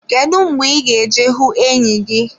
Kedu mgbe ị ga-eje hụ enyi gị?